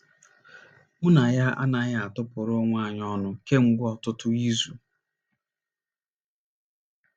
Mụ na ya anaghị atụpụrụ onwe anyị ọnụ kemgbe ọtụtụ izu. ”